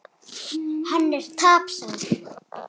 Hann er tapsár.